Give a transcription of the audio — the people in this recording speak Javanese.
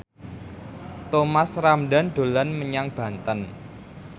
Thomas Ramdhan dolan menyang Banten